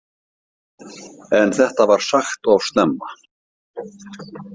En þetta var sagt of snemma.